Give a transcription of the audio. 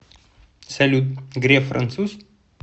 салют греф француз